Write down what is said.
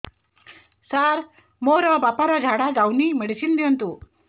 ସାର ମୋର ବାପା ର ଝାଡା ଯାଉନି ମେଡିସିନ ଦିଅନ୍ତୁ